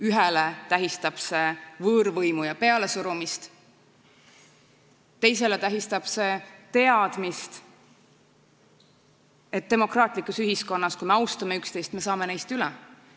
Ühele tähistab see võõrvõimu ja pealesurumist, teisele tähistab see teadmist, et demokraatlikus ühiskonnas, kui me austame üksteist, me saame neist asjadest üle.